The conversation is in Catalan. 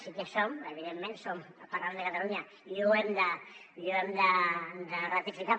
sí que som evidentment som el parlament de catalunya i ho hem de ratificar